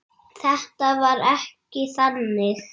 Þetta var ekki þannig.